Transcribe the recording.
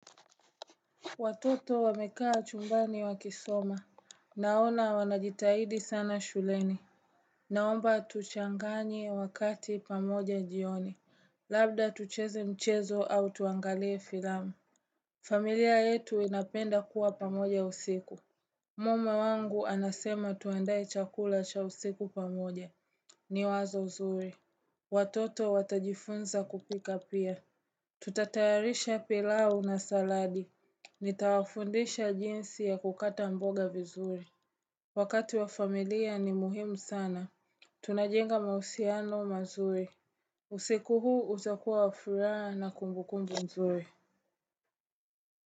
Watoto wamekaa chumbani wa kisoma Naona wanajitahidi sana shuleni Naomba tuchanganye wakati pamoja jioni Labda tucheze mchezo au tuangalie filamu familia yetu inapenda kuwa pamoja usiku Mume wangu anasema tuandae chakula cha usiku pamoja ni wazo zuri Watoto watajifunza kupika pia Tutatayarisha pilau na saladi Nitawafundisha jinsi ya kukata mboga vizuri Wakati wa familia ni muhimu sana Tunajenga mahusiano mazuri usiku huu utakuwa wa furaha na kumbukumbu nzuri.